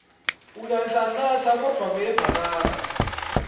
uyanhlanhlatsa kodvwa kuyevakala